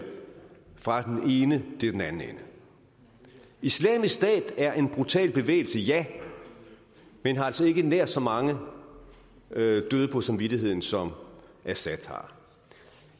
fra den ene til den anden ende islamisk stat er en brutal bevægelse ja men har altså ikke nær så mange døde døde på samvittigheden som assad har